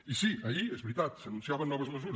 i sí ahir és veritat s’anunciaven noves mesures